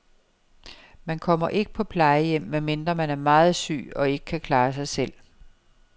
Man kommer ikke på plejehjem, medmindre man er meget syg og ikke kan klare sig selv.